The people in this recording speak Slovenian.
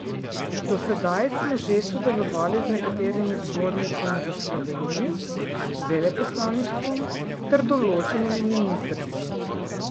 Do sedaj smo že sodelovali z nekaterimi zbornicami v Sloveniji, veleposlaništvom ter določenimi ministrstvi.